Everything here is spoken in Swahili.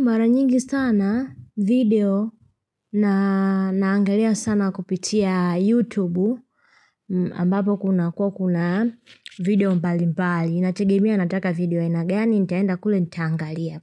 Mara nyingi sana video na naangalia sana kupitia youtube mbapo kuna kuwa kuna video mbali mbali inategemea ya nataka video ainagani nitaenda kule nitaangalia